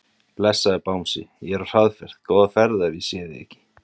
Blessaður Bangsi, ég er á hraðferð, góða ferð ef ég sé þig ekki.